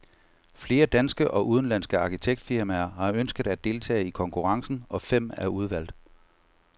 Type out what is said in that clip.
Flere danske og udenlandske arkitektfirmaer har ønsket at deltage i konkurrencen, og fem er udvalgt.